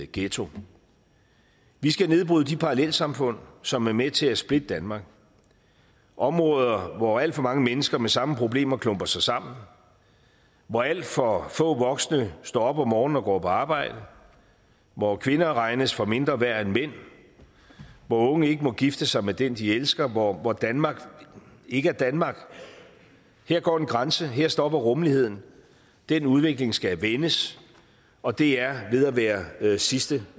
ghetto vi skal nedbryde de parallelsamfund som er med til at splitte danmark områder hvor alt for mange mennesker med samme problemer klumper sig sammen hvor alt for få voksne står op om morgenen og går på arbejde hvor kvinder regnes for mindre værd end mænd hvor unge ikke må gifte sig med den de elsker og hvor danmark ikke er danmark her går en grænse her stopper rummeligheden den udvikling skal vendes og det er ved at være sidste